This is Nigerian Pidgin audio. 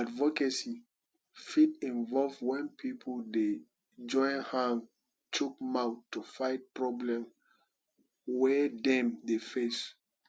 advocacy fit involve when pipo dey join hang chook mouth to fight problem wey dem dey face